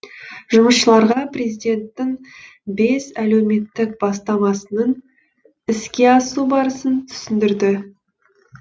жұмысшыларға президенттің бес әлеуметтік бастамасының іске асу барысын түсіндірді